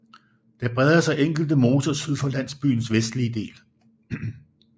Der breder sig enkelte moser syd for landsbyens vestlige del